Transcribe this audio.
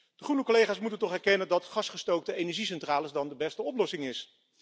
De groene collega's moeten toch erkennen dat gasgestookte energiecentrales dan de beste oplossing zijn.